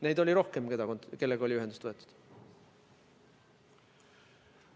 Neid firmasid, kellega ühendust võeti, oli rohkem.